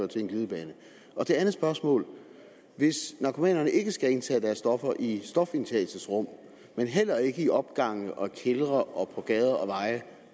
til en glidebane mit andet spørgsmål er hvis narkomanerne ikke skal indtage deres stoffer i stofindtagelsesrum men heller ikke i opgange kældre og på gader og veje